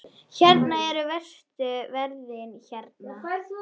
Hvernig eru verstu veðrin hérna?